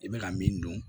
I bɛ ka min dun